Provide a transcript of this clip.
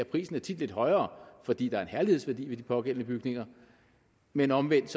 prisen er tit lidt højere fordi der er en herlighedsværdi ved de pågældende bygninger men omvendt